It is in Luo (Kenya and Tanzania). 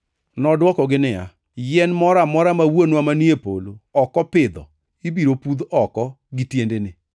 Nodwoko niya, “Yien moro amora ma Wuonwa manie polo ok opidho ibiro pudh oko gi tiendene.